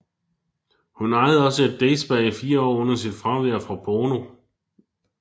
Hun ejede også et day spa i fire år under sit fravær fra porno